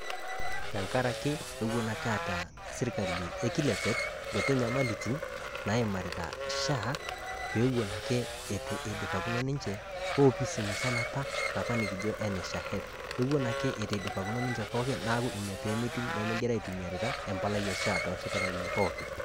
Tengaraki ewon ake eata sirkali e kilepet nkuti nyamalitin naimarita SHA peewon ake eitu eidupakino ninche oopisi musana apa napa nikijo NHIF, ewon ake eitu eidupakino ninche pooki neaku peemegira aitumiarita empalai e SHA tosipitalini pooki.